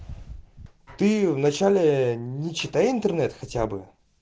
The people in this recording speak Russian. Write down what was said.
ты в начале не читай интернет хотя бы